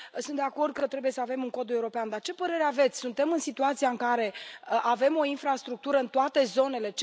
Sunt de acord că trebuie să avem un cod european, dar ce părere aveți suntem în situația în care avem o infrastructură în toate zonele?